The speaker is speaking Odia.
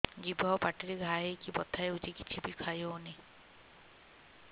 ଜିଭ ଆଉ ପାଟିରେ ଘା ହେଇକି ବଥା ହେଉଛି କିଛି ବି ଖାଇହଉନି